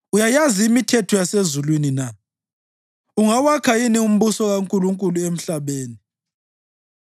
Uyayazi imithetho yasezulwini na? Ungawakha yini umbuso kaNkulunkulu emhlabeni?